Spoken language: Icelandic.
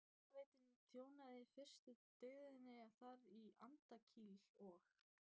Hitaveitan þjónaði í fyrstu byggðinni þar og í Andakíl og